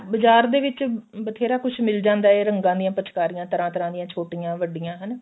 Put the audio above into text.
ਬਾਜਾਰ ਦੇ ਵਿੱਚ ਬਥੇਰਾ ਕੁੱਝ ਮਿਲ ਜਾਂਦਾ ਇਹ ਰੰਗਾਂ ਦੀਆਂ ਪਿਚਕਾਰੀਆਂ ਤਰ੍ਹਾਂ ਤਰ੍ਹਾਂ ਦੀਆਂ ਛੋਟੀਆਂ ਵੱਡੀਆਂ ਹਨਾ